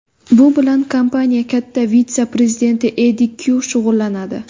Bu bilan kompaniya katta vitse-prezidenti Eddi Kyu shug‘ullanadi.